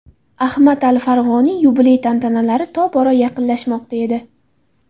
Ahmad al-Farg‘oniy yubiley tantanalari tobora yaqinlashmoqda edi.